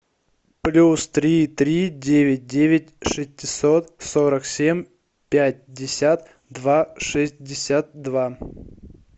плюс три три девять девять шестьсот сорок семь пятьдесят два шестьдесят два